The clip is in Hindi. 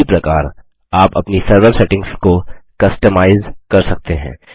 इसी प्रकार आप अपनी सर्वर सेटिंग्स को कस्टमाइज अपनी रूचि के अनुसार कर सकते हैं